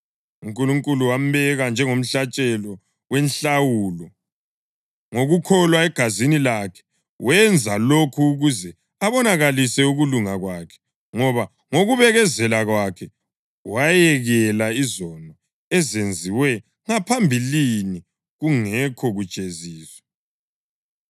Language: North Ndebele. UNkulunkulu wambeka njengomhlatshelo wenhlawulo, ngokukholwa egazini lakhe. Wenza lokhu ukuze abonakalise ukulunga kwakhe, ngoba ngokubekezela kwakhe wayekela izono ezenziwe ngaphambilini kungekho kujeziswa,